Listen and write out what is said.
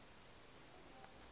yordane